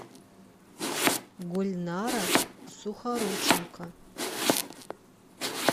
гульнара сухорученко